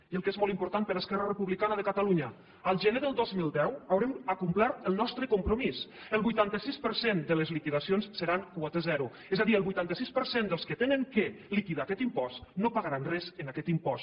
i el que és molt important per a esquerra republicana de catalunya al gener del dos mil deu haurem acomplert el nostre compromís el vuitanta sis per cent de les liquidacions seran quota zero és a dir el vuitanta sis per cent dels que han de liquidar aquest impost no pagaran res en aquest impost